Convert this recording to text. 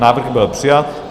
Návrh byl přijat.